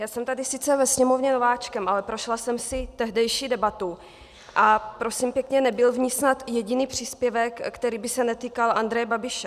Já jsem tady sice ve Sněmovně nováčkem, ale prošla jsem si tehdejší debatu a prosím pěkně, nebyl v ní snad jediný příspěvek, který by se netýkal Andreje Babiše.